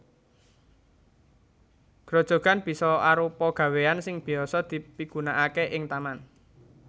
Grojogan bisa arupa gawéan sing biyasa dipigunaaké ing taman